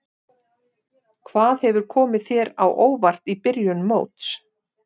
Hvað hefur komið þér á óvart í byrjun móts?